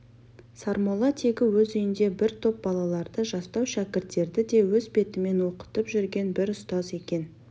сармолла тегі өз үйінде бір топ балаларды жастау шәкірттерді өз бетімен оқытып жүрген бір ұстаз екен